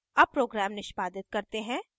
अब program निष्पादित करते हैं